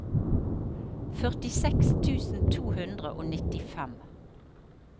førtiseks tusen to hundre og nittifem